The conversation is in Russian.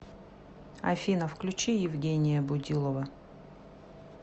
афина включи евгения будилова